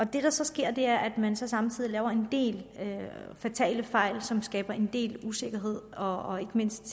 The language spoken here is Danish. det der så sker er at man samtidig laver en del fatale fejl som skaber en del usikkerhed og ikke mindst